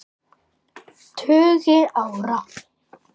tugi ára.